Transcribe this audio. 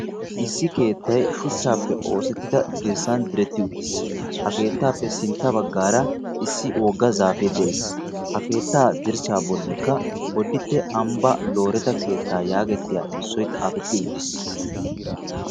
Issi keettay shuchchaappe oosettida dirssan diretti uttis. Ha keettaappe sintta baggaara issi wogga zaafee de"es. Ha keetta dirssaa bollikka bodditte ambbaa looreta keettaa yaagettiya erissoy xaafetti uttis.